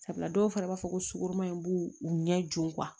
Sabula dɔw fana b'a fɔ ko sukoroma in b'u ɲɛ joona